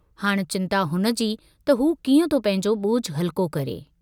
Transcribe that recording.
हाणि चिन्ता हुनजी त हू कीअं थो पंहिंजो बोझु हल्को करे।